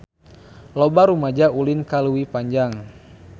Loba rumaja ulin ka Leuwi Panjang